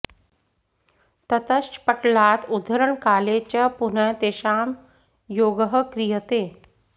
ततश्च पटलात् उद्धरणकाले च पुनः तेषां योगः क्रियते